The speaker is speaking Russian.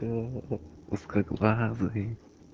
узкоглазый